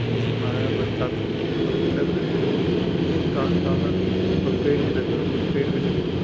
जैसे महाराणा प्रताप की हो दो पिलर खड़े है उसके पीछे एक ट्रांसफार्मर भी है और पेड़ भी लगे कुछ पेड़ भी लगे हुए है।